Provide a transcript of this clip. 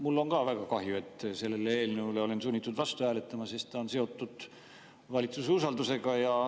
Mul on ka väga kahju, et olen sellele eelnõule sunnitud vastu hääletama, sest ta on seotud valitsuse usaldamisega.